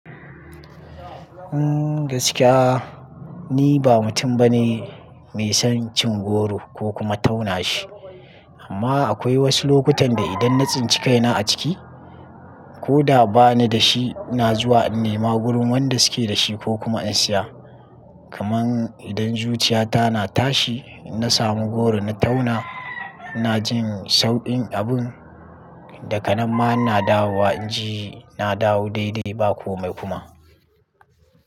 Umm, gaskiya ni ba mutum bane mai son cin goro ko kuma tauna shi. Amma akwai wasu lokutan da idan na tsinci kaina a ciki ko da ba ni da shi, na zuwa in nema wurin wanda suke da shi ko kuma in siya. Kaman idan zuciyata na tashi, na samu goro na tauna, ina jin saukin abun, daga nan ma na dawowa inji na dawo daidai ba komai kuma.